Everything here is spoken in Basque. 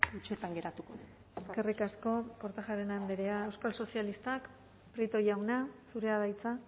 hutsetan geratuko den eskerrik asko eskerrik asko kortajarena andrea euskal sozialistak prieto jauna zurea da hitza